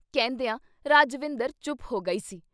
ਕਹਿੰਦਿਆਂ ਰਾਜਵਿੰਦਰ ਚੁੱਪ ਹੋ ਗਈ ਸੀ।